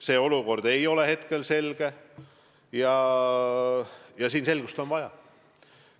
See olukord ei ole selge, aga selgust on vaja.